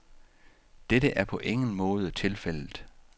Dette er på ingen måde tilfældet.